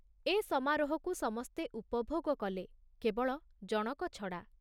ଏ ସମାରୋହକୁ ସମସ୍ତେ ଉପଭୋଗ କଲେ, କେବଳ ଜଣକ ଛଡ଼ା।